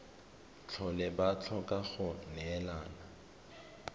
tlhole ba tlhoka go neelana